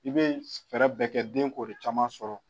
I bɛ fɛɛrɛ bɛɛ kɛ den k'o de caman sɔrɔ.